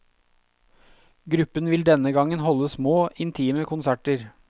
Gruppen vil denne gangen holde små, intime konserter.